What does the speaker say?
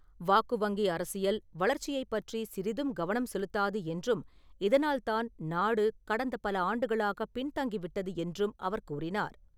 வாக்கு வங்கி அரசியல், வளர்ச்சியைப் பற்றி சிறிதும் கவனம் செலுத்தாது என்றும், இதனால் தான் நாடு கடந்த பல ஆண்டுகளாக பின்தங்கிவிட்டது என்றும் அவர் கூறினார்.